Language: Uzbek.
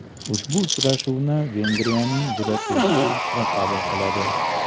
Ushbu uchrashuvni Vengriyaning Budapesht shahri qabul qiladi.